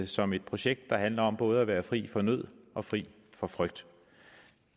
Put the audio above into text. som et projekt der handler om både at være fri for nød og fri for frygt